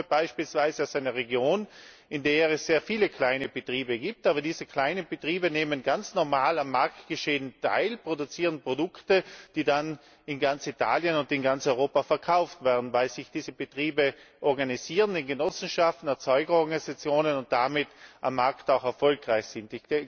Ich komme beispielsweise aus einer Region, in der es sehr viele kleine Betriebe gibt, aber diese kleinen Betriebe nehmen ganz normal am Marktgeschehen teil, produzieren Produkte, die dann in ganz Italien und in ganz Europa verkauft werden, weil sich diese Betriebe organisieren in Genossenschaften und Erzeugerorganisationen und damit am Markt auch erfolgreich sind.